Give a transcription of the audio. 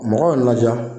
Mɔgɔw laja